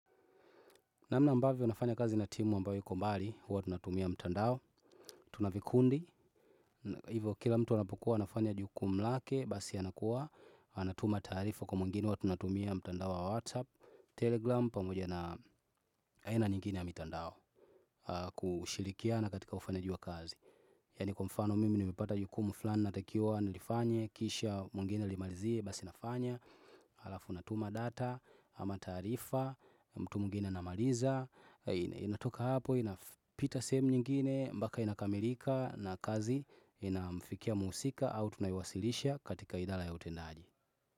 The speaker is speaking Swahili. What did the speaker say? Namnna ambavyo nafanya kazi na timu ambayo iko mbali, huwa tunatumia mtandao, tunavikundi, hivyo kila mtu anapokuwa nafanya jukumu lake, basi anakuwa, anatuma taarifa kwa mwingine huwa tunatumia mtandao wa WhatsApp, Telegram, pamoja na aina nyingine ya mitandao kushirikiana katika ufanyaji wa kazi. Yani kwa mfano mimi nimepata jukumu fulani na takiwa nilifanye kisha mwingine alimalizie basi nafanya Alafu natuma data ama taarifa mtu mwingine anamaliza inatoka hapo inapita sehemu nyingine mpaka inakamirika na kazi inamfikia muhusika au tunaiwasilisha katika idara ya utendaji.